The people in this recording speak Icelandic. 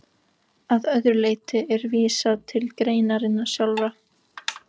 Að öðru leyti er vísað til greinarinnar sjálfrar.